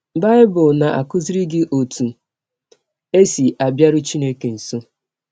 Bible na - akụziri gị ọtụ e si abịarụ Chineke nsọ